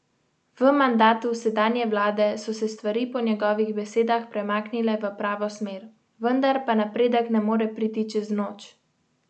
V mandatu sedanje vlade so se stvari po njegovih besedah premaknile v pravo smer, vendar pa napredek ne more priti čez noč.